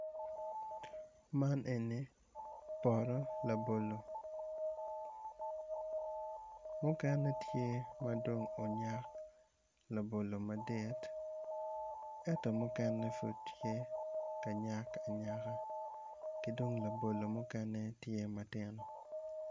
Man eni poto labolo mukene tye madong onyak laolo madit ento mukene pud tye ka nyak anyaka kidong labolo mukene tye matino